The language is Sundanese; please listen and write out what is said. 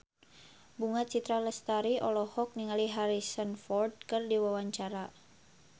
Bunga Citra Lestari olohok ningali Harrison Ford keur diwawancara